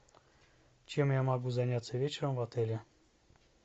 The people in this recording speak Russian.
чем я могу заняться вечером в отеле